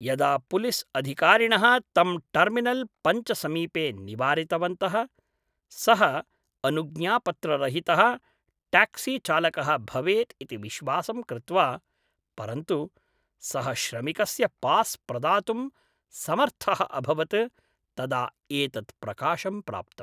यदा पुलिस् अधिकारिणः तं टर्मिनल् पञ्च समीपे निवारितवन्तः, सः अनुज्ञापत्ररहितः ट्याक्सिचालकः भवेत् इति विश्वासं कृत्वा परन्तु सः श्रमिकस्य पास् प्रदातुं समर्थः अभवत् तदा एतत् प्रकाशं प्राप्तम् ।